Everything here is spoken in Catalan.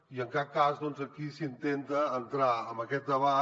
i en cap cas doncs aquí s’intenta entrar en aquest debat